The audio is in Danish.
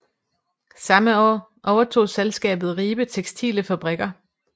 Samme år overtog selskabet Ribe textile Fabrikker